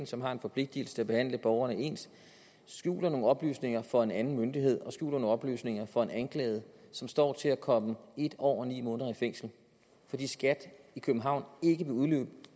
som har en forpligtelse til at behandle borgerne ens skjuler nogle oplysninger for en anden myndighed og skjuler nogle oplysninger for en anklaget som står til at komme en år og ni måneder i fængsel fordi skat københavn ikke vil